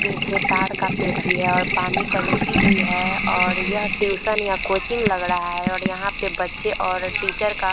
पीछे ताड़ का पेड़ भी है और पानी टंकी भी है और यह ट्यूशन या कोचिंग लग रहा है और यहाँ पे बच्चे और टीचर का --